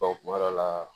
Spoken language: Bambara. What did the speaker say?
kuma dɔ la